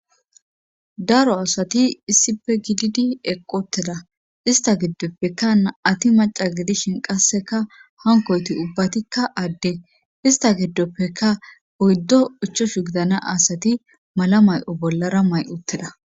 Daro asati issife gididi eqqoteda ista giddoppeka na7ati maca gidishin qasseka hankoyti ubbatikka adde ista giddoppeka oyddo uchoshu gidana asati mala may7o bollara may7utteda.